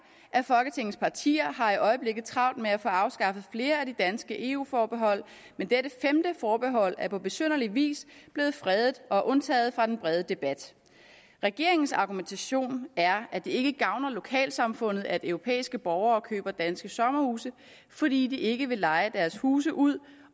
af folketingets partier har i øjeblikket travlt med at få afskaffet flere af de danske eu forbehold men dette femte forbehold er på besynderlig vis er blevet fredet og undtaget fra den brede debat regeringens argumentation er at det ikke gavner lokalsamfundet at europæiske borgere køber danske sommerhuse fordi de ikke vil leje deres huse ud